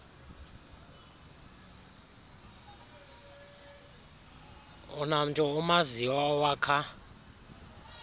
unamntu umaziyo owakha